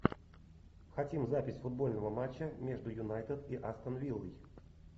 хотим запись футбольного матча между юнайтед и астон виллой